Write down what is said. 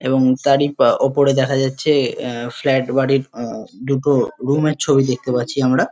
এবং তারই উপরে দেখা যাচ্ছে আহ ফ্লাট বাড়ির আহ দুটো রুম -এর ছবি দেখতে পাচ্ছি আমরা।